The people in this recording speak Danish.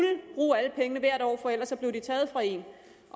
bruge alle pengene hvert år for ellers blev de taget fra en